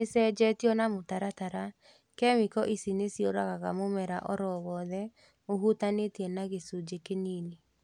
Nĩcenjetio na mũtaratara. Kĩmĩko ici nĩciũragaga mũmera oro wothe ũhutanĩtie na gĩcunjĩ kĩnini